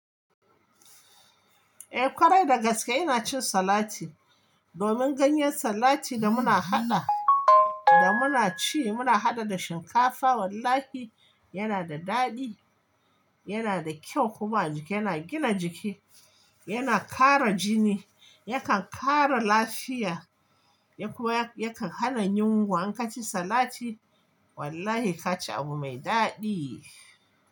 Eh ƙwarai dagaske ina cin salati, domin ganyen salati da muna haɗa da muna ci muna haɗa da shinkafa wallahi yana da daɗi, yana da kyau kuma a jiki yana gina jiki, yana ƙara jini, yakan ƙara lafiya, ya kuwa yakan hana yunwa in ka ci salati wallahi ka ci abu mai daɗi.